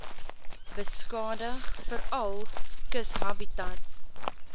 beskadig veral kushabitats